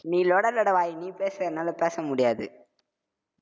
நீ லொட லொட வாய், நீ பேசு என்னால பேச முடியாது.